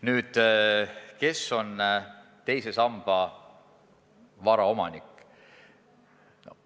Nüüd, kes on teise samba vara omanik?